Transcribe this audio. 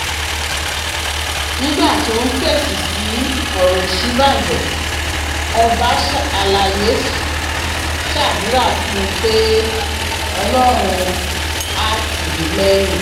nígbà tó ń fèsì sí ọ̀rọ̀ òṣínbàjò ọba àlàyé ṣàdúrà fún un pé ọlọ́run áà tì í lẹ́yìn